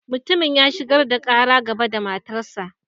Mutumin ya shigar da Kara gaba da matan sa.